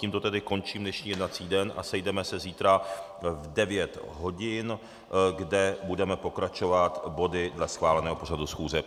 Tímto tedy končím dnešní jednací den a sejdeme se zítra v 9 hodin, kdy budeme pokračovat body dle schváleného pořadu schůze.